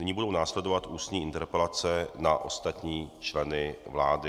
Nyní budou následovat ústní interpelace na ostatní členy vlády.